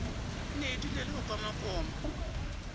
nne o dulele ho komakoma